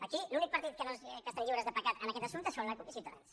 aquí els únics partits que estan lliures de pecat en aquest assumpte són la cup i ciutadans